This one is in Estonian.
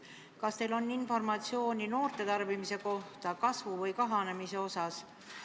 Kas teil on informatsiooni noorte tarbimise kohta, selle kasvu või kahanemise kohta?